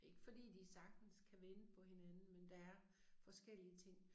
Det ikke fordi de sagtens kan vente på hinanden men der er forskellige ting